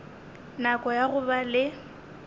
nako ya go ba le